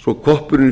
svo koppurinn